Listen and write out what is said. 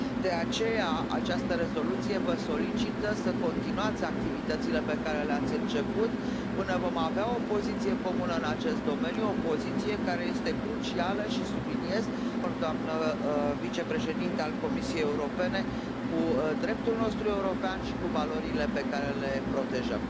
De aceea, această rezoluție vă solicită să continuați activitățile pe care le ați început, până vom avea o poziție comună în acest domeniu, o poziție care este crucială și, subliniez, doamnă vicepreședintă a Comisiei Europene, în deplin acord cu dreptul nostru european și cu valorile pe care le protejăm.